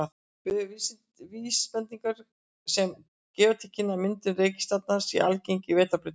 Við höfum vísbendingar sem gefa til kynna að myndun reikistjarna sé algeng í Vetrarbrautinni.